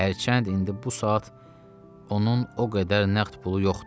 Hərçənd indi bu saat onun o qədər nəqd pulu yoxdur.